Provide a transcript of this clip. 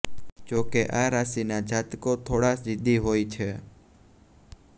જો કે આ રાશિના જાતકો થોડા જીદી હોય છે